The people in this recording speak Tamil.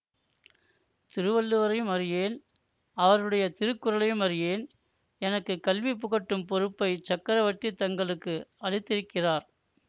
திருவள்ளுவரையும் அறியேன் அவருடைய திருக்குறளையும் அறியேன் எனக்கு கல்வி புகட்டும் பொறுப்பைச் சக்கரவர்த்தி தங்களுக்கு அளித்திருக்கிறார்